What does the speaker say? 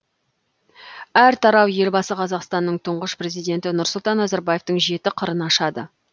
әр тарау елбасы қазақстанның тұңғыш президенті нұрсұлтан назарбаевтың жеті қырын ашады